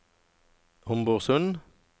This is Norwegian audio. Homborsund